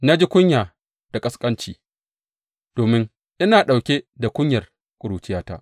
Na ji kunya da ƙasƙanci domin ina ɗauke da kunyar ƙuruciyata.’